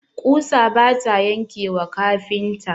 ƙusa bata yanke wa kafinta.